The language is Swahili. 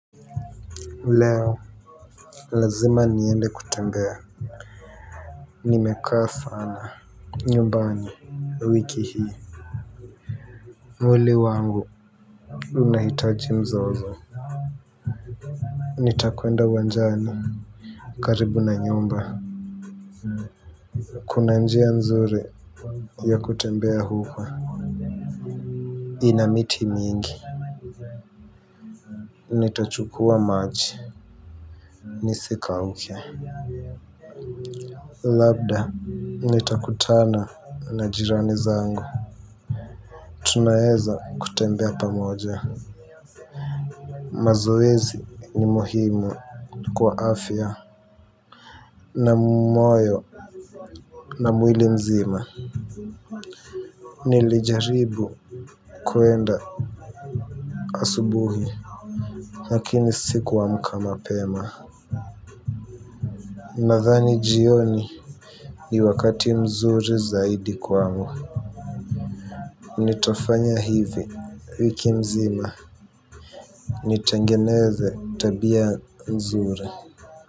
Leo, lazima niende kutembea. Nimekaa sana nyumbani wiki hii. Mwili wangu unahitaji mzozo. Nitakwenda uwanjani, karibu na nyumba. Kuna njia nzuri ya kutembea huko. Ina miti mingi. Nitachukua maji nisikauke. Labda nitakutana na jirani zangu. Tunaeza kutembea pamoja. Mazoezi ni muhimu. Kwa afya na moyo, na mwili mzima. Nilijaribu kuenda asubuhi, lakini sikuamka mapema. Nadhani jioni ni wakati mzuri zaidi kwangu. Nitafanya hivi wiki mzima. Nitengeneze tabia mzuri.